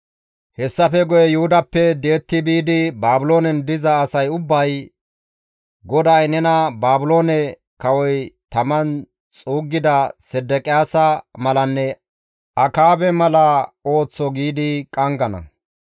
Hessafe guye Yuhudappe di7etti biidi Baabiloonen diza asay ubbay, ‹GODAY nena Baabiloone kawoy taman xuuggida Sedeqiyaasa malanne Akaabe mala ooththo› giidi qanggana.